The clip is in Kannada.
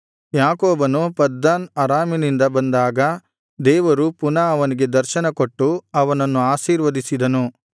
ಯಾಕೋಬನು ಪದ್ದನ್ ಅರಾಮಿನಿಂದ ಬಂದಾಗ ದೇವರು ಪುನಃ ಅವನಿಗೆ ದರ್ಶನ ಕೊಟ್ಟು ಅವನನ್ನು ಆಶೀರ್ವದಿಸಿದನು